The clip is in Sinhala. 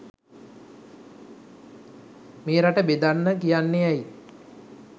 මේ රට බෙදන්න කියන්නේ ඇයි